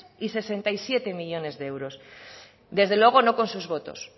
y sesenta y siete millónes de euros desde luego no con sus votos